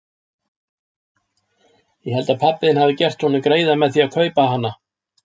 Ég held að pabbi þinn hafi gert honum greiða með því að kaupa hana.